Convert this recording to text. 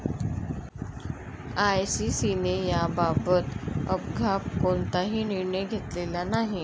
आयसीसीने याबाबत अद्याप कोणताही निर्णय घेतलेला नाही.